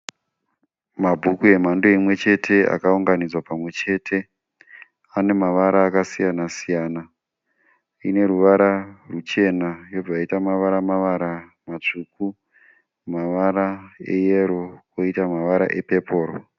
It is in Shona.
Mabhuku emhando imwechete akaunganidzwa pamwechete. Ane mavara akasiyana-siyana. Ine ruvara ruchena, yobva yaita mavara-mavara matsvuku, mavara eyero, poita mavara epepuru.